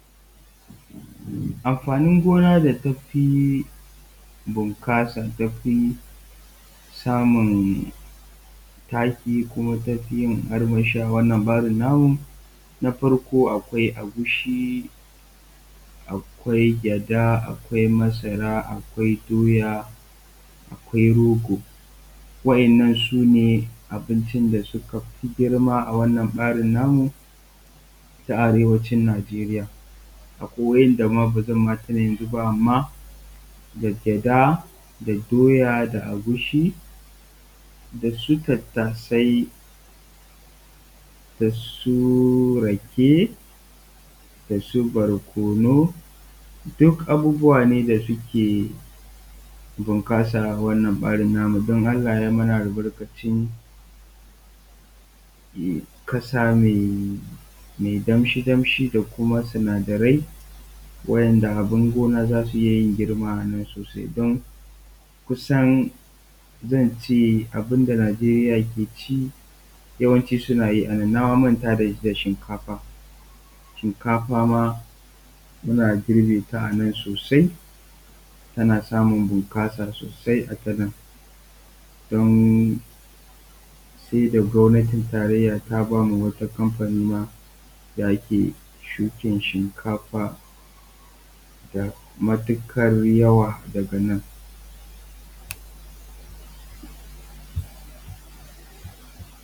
Amfanin gona da tafi bunƙasan, tafi samun taki, kuma tafi yin armashi a wannan ɓarin namu, na farko akwai agushi, akwai gyaɗa, akwai masara, akwai doya, akwai rogo, wa'innan sune abincin da suka fi girma a wannan ɓarin namu ta arewacin Najeriya. Akwai wa'inda ma ba zan tuna su ba amman da gyaɗa, da doya, da agushi, da su tattasai da su rake, da su barkonu, duk abubuwa ne da suke bunƙasa a wannan ɓarin namu don Allah yai mana albarkacin ƙasa mai damshi damshi kuma sinadarai wa'inda abun gona za su iya yin girma sosai, don kusan zan ce abunda Najeriya ke ci yawanci suna yi a nan. Na ma manta da shinkafa, shinkafa ma muna girbe ta a nan sosai, tana samun bunƙasa sosai a ta nan don sai da gwamnatin tarayya ta bamu wata kamfani ma da ake shukan shinkafa da matuƙar yawa daga nan.